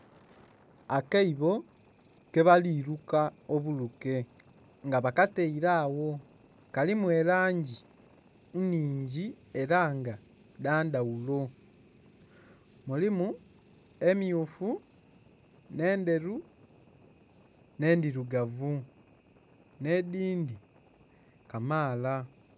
Akaibo kebali luka obuluke, nga bakataile agho kalimu elangi nnhingi ela nga dha ndhaghulo. Mulimu emmyufu, nh'endheru nh'endhilugavu. Nh'edhindhi kamaala.